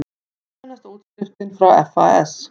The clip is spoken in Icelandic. Fjölmennasta útskriftin frá FAS